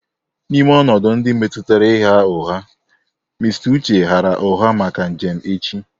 N'ime ọnọdụ ndị metụtara ịgha ụgha, Mr. Uche ghaara ụgha maka njem echi